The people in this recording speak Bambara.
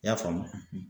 I y'a faamu